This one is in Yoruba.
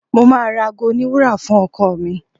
Mo máa ra aago oníwúrà fún ọkọ ọ̀ mi.